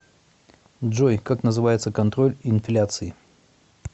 джой как называется контроль инфляции